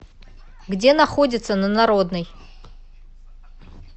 где находится на народной